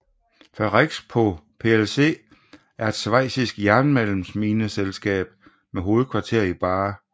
Ferrexpo plc er et schweizisk jernmalmsmineselskab med hovedkvarter i Baar